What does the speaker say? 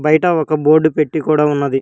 బయట ఒక బోర్డు పెట్టి కూడా ఉన్నది.